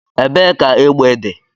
Ebee ka egbe dị?